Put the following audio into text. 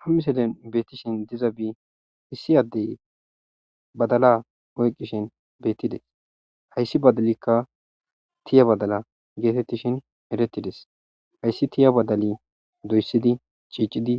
ha miselen beettishin dizabi issi addey badala oyqqishin beettides hayssi badalikka tiya badala geetettishin erettides hayssi tiya badali doyssidi ciicidi